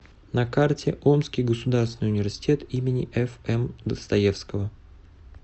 на карте омский государственный университет им фм достоевского